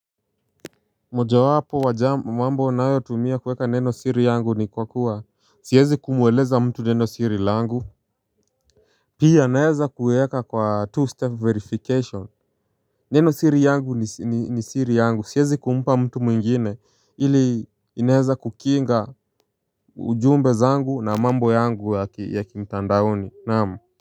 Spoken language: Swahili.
Mojawapo wa jamu mambo nayotumia kuweka neno siri yangu ni kwa kuwa siezi kumweleza mtu neno siri langu. Pia naeza kuweka kwa two step verification. Nenosiri yangu ni siri yangu siezi kumpa mtu mwingine ili inaeza kukinga ujumbe zangu na mambo yangu ya kimtandaoni naam. Kwa hivyo.